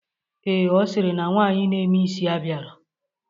Ee, ọ sịrị na nwaanyị na-eme isi abịarọ,